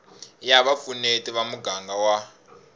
ya vupfuneti ya muganga wa